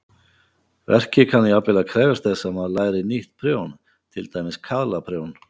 Verkið kann jafnvel að krefjast þess að maður læri nýtt prjón, til dæmis kaðlaprjón.